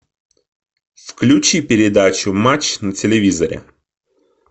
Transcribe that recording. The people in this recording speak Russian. включи передачу матч на телевизоре